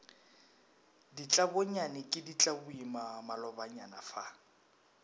ditlabonyane ke ditlaboima malobanyana fa